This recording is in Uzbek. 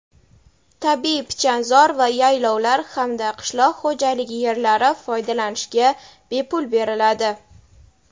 tabiiy pichanzor va yaylovlar hamda qishloq xo‘jaligi yerlari foydalanishga bepul beriladi.